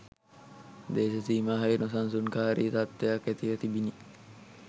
දේශසීමාහි නොසන්සුන්කාරී තත්ත්වයක් ඇතිව තිබිණි